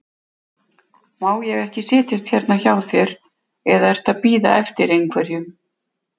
Má ég ekki setjast hérna hjá þér, eða ertu að bíða eftir einhverjum?